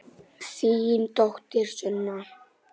Þín dóttir Sunna.